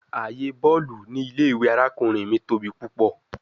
Aaye bọọlu ni ile-iwe arakunrin mi tobi pupọ